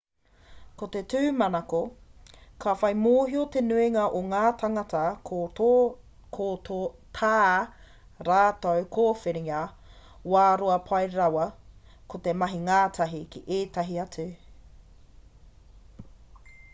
ko te tūmanako ka whai mōhio te nuinga o ngā tāngata ko tā rātou kōwhiringa wā roa pai rawa ko te mahi ngātahi ki ētahi atu